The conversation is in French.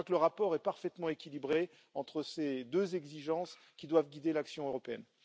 Je crois que le rapport est parfaitement équilibré entre ces deux exigences qui doivent guider l'action européenne.